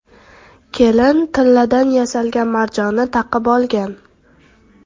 Kelin tilladan yasalgan marjonni taqib olgan.